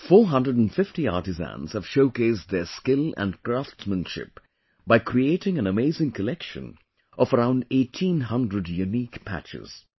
450 artisans have showcased their skill and craftsmanship by creating an amazing collection of around 1800 Unique Patches